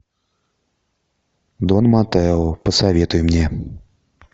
дон маттео посоветуй мне